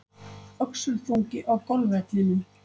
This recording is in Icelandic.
Öxulþungi á golfvellinum